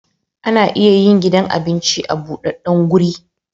Ana iya yin gidan abinci a budaddan guri